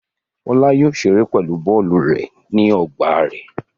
Fọlá yóò ṣeré pẹ̀lú bọ́ọ́lù rẹ̀ nínú ọgbà rẹ̀.